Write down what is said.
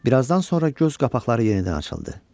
Bir azdan sonra göz qapaqları yenidən açıldı.